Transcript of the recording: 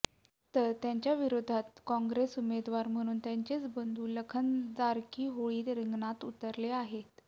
तर त्यांच्याविरोधात काँग्रेस उमेदवार म्हणून त्यांचेच बंधू लखन जारकीहोळी रिंगणात उतरले आहेत